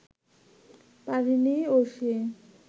পারেনি ঐশী